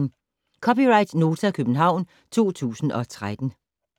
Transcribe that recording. (c) Nota, København 2013